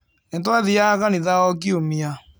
Ni twathiaga kanitha o Kiumia.